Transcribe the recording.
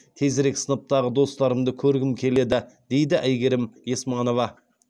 тезірек сыныптағы достарымды көргім келеді дейді әйгерім есманова